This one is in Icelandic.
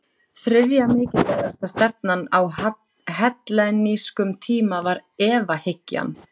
Þriðja mikilvægasta stefnan á hellenískum tíma var efahyggjan.